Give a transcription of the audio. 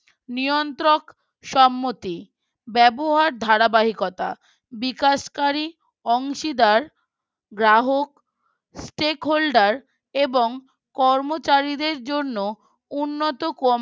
নিয়ন্ত্রক সম্মতি ব্যবহার ধারাবাহিকতা বিকাশকারী অংশীদার গ্রাহক stake holder এবং কর্মচারীদের জন্য উন্নত